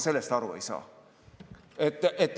Sellest ma aru ei saa.